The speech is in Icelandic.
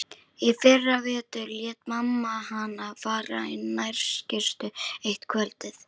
Í fyrravetur lét mamma hana fara í nærskyrtu eitt kvöldið.